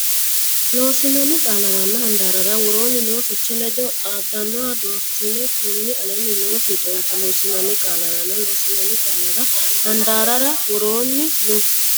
Loossinanni qaallaranna handaarrara woroonni noo fiche ledo xaadannoha doortinanni kunni aleenni noo fiixoonse Loossinanni qaallaranna Loossinanni qaallaranna handaarrara woroonni noo.